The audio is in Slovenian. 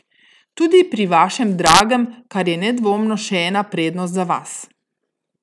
Tudi pri vašem dragem, kar je nedvomno še ena prednost za vas.